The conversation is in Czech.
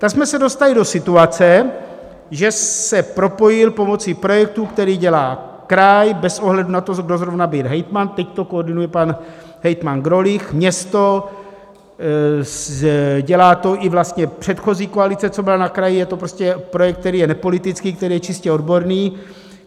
Tak jsme se dostali do situace, že se propojil pomocí projektu, který dělá kraj - bez ohledu na to, kdo zrovna byl hejtman, teď to koordinuje pan hejtman Grolich, město, dělá to i vlastně předchozí koalice, co byla na kraji - je to prostě projekt, který je nepolitický, který je čistě odborný.